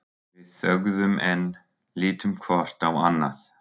Við þögðum enn, litum hvort á annað.